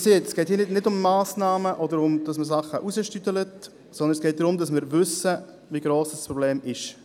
Wie gesagt: Es geht nicht um Massnahmen oder darum, die Lösung zu verzögern, sondern es geht darum, zu wissen, wie gross das Problem ist.